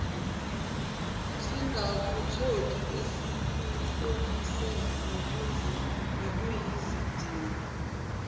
singakutholi esikuhlosile nokuyizidingo